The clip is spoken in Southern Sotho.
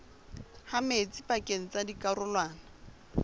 ha metsi pakeng tsa dikarolwana